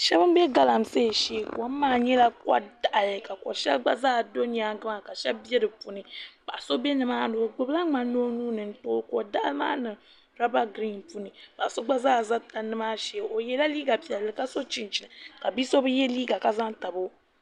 Shab n bɛ galamsee shee kom maa nyɛla ko daɣari ka shab bɛ di puuni paɣa so bɛ nimaani o gbubila ŋmani o nuuni n tooi ko biɛɣu maa niŋ roba giriin puuni paɣa so gba zaa ʒɛ tandi maa shee o yɛla liiga piɛlli ka so chinchini ka bia so bi yɛ liiga ka ʒɛ n tabo